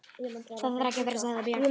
Það þarf ekki að vera, sagði Björg.